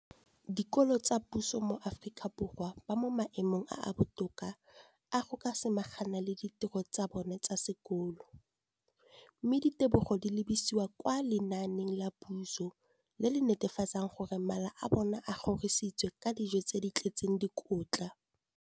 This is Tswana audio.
dikolo tsa puso mo Aforika Borwa ba mo maemong a a botoka a go ka samagana le ditiro tsa bona tsa sekolo, mme ditebogo di lebisiwa kwa lenaaneng la puso le le netefatsang gore mala a bona a kgorisitswe ka dijo tse di tletseng dikotla.